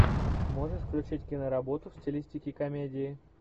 можешь включить киноработу в стилистике комедии